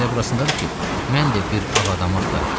Məsələ burasındadır ki, mən də bir ağ adamı axtarıram.